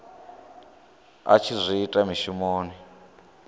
a tshi zwi ita mushumoni